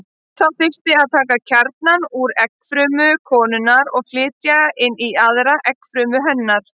Þá þyrfti að taka kjarna úr eggfrumu konunnar og flytja inn í aðra eggfrumu hennar.